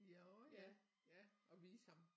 Ja orh ja ja og vise ham